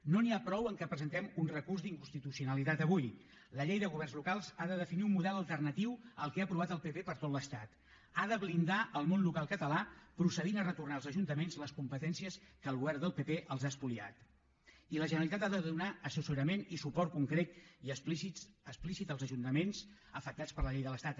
no n’hi ha prou que presentem un recurs d’inconstitucionalitat avui la llei de governs locals ha de definir un model alternatiu al que ha aprovat el pp per a tot l’estat ha de blindar el món local català procedint a retornar als ajuntaments les competències que el govern del pp els ha espoliat i la generalitat ha de donar assessorament i suport concret i explícit als ajuntaments afectats per la llei de l’estat